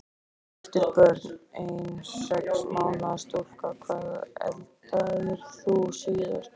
Giftur Börn: Ein sex mánaða stúlka Hvað eldaðir þú síðast?